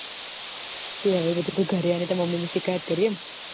તે હવે તું ઘર આઇ ને તાર mummy ની સીક્યાયાદ કરી એમ